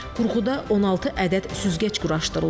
Qurğuda 16 ədəd süzgəc quraşdırılıb.